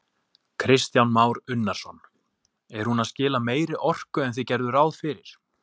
Kristján Már Unnarsson: Er hún að skila meiri orku en þið gerðuð ráð fyrir?